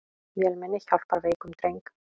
Vélmenni hjálpar veikum dreng